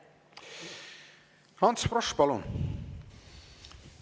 Ants Frosch, palun!